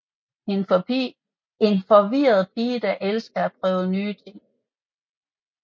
En forvirret pige der elsker at prøve nye ting